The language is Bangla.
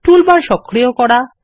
টুলবার সক্রিয় করা